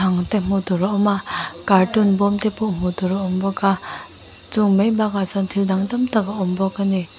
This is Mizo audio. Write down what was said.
ang te hmuh tur a awm a carton bawm te pawh hmuh tur a awm bawk a chung mai bakah chuan thil dang tam tak a awm bawk a ni.